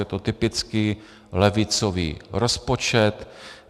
Je to typicky levicový rozpočet.